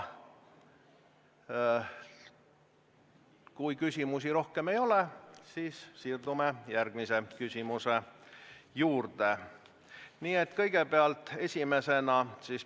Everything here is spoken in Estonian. Kõigepealt, esimesena on Kersti Sarapuul küsimus peaminister Jüri Ratasele.